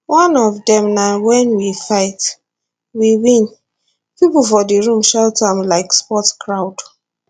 one of dem na wen we fight we win pipo for di room shout am like sports crowd